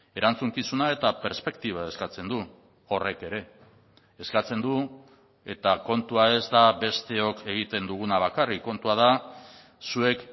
erantzukizuna eta perspektiba eskatzen du horrek ere eskatzen du eta kontua ez da besteok egiten duguna bakarrik kontua da zuek